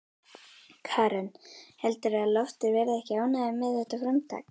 Karen: Heldurðu að Loftur verði ekki ánægður með þetta framtak?